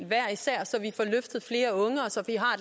hver især så vi får løftet flere unge og så vi har